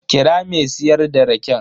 Kira me siyar da raken.